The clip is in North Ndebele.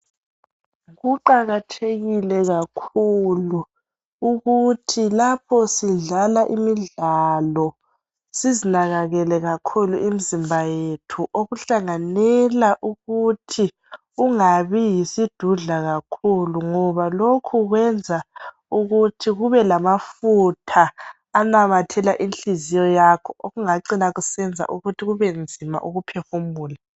Kuqakathekile kakhulu ukuthi lapho sidlala imidlalo sizinakekele imizimba yethu, okuhlanganela ukuthi ungabi yisidudla kakhulu ngoba lokhu kwenza ukuthi kube lamafutha anamathela inhliziyo yakho okungacina kusenza ukuthi kubenzima ukuphefumula.